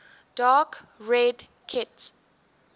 dark red kit